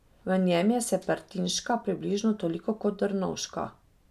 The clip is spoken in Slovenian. V njem je Serpentinška približno toliko kot Drnovška.